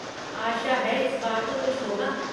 आशा है इस बार तो कुछ होगा।